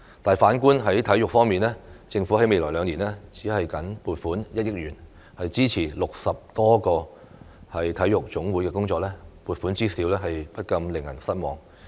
但反觀體育方面，政府在未來兩年僅撥款1億元支持60多個體育總會的工作，撥款之少不禁令人失望。